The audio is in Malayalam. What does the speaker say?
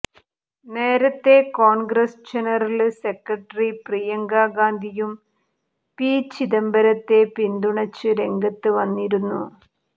നേരത്തെ കോണ്ഗ്രസ് ജനറല് സെക്രട്ടറി പ്രിയങ്ക ഗാന്ധിയും പി ചിദംബരത്തെ പിന്തുണച്ച് രംഗത്ത് വന്നിരുന്നു